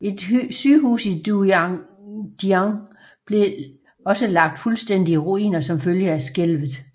Et sygehus i Dujiangyan blev også lagt fuldstændigt i ruiner som følge af skælvet